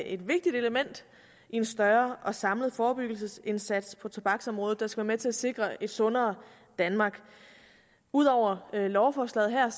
et vigtigt element i en større og samlet forebyggelsesindsats på tobaksområdet der skal være med til at sikre et sundere danmark ud over lovforslaget her